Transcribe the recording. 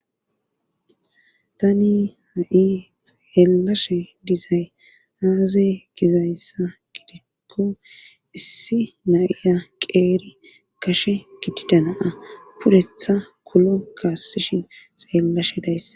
tani ha7i xeellashe dizay aaza gizayssa gidikko issi naiya qeeri kashe gidida naa pudetha kulo kaassishin xeellashe dayss